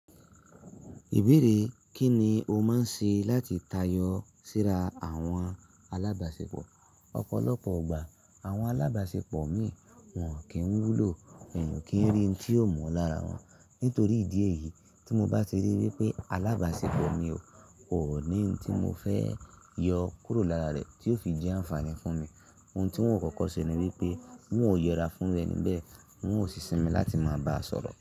Ìbéèrè kí ni o máa ń ṣe láti tayọ síra àwọn alábàáṣepọ̀? Ọ̀pọ̀lọpọ̀ ọgbà àwọn alábàáṣepọ̀ mi wọ́n kì ń wúlò, mi ò kí ń rí ohun tí yóò mú lára wọn. Nítorí ìdí èyí tí mo bá ti rí wípé alábàáṣepọ̀ mi kò ní ohun tí mo fẹ́ yọ kúrò lára rẹ̀ tí ó fi jẹ́ àǹfààní fún mi. Ohun tí wọn kọ́kọ́ ṣe ni wípé wọn ò yẹra fún rẹ̀ níbẹ̀, wọn ò sì sinmi láti máa bá a sọ̀rọ̀.